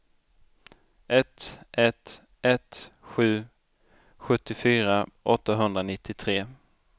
ett ett ett sju sjuttiofyra åttahundranittiotre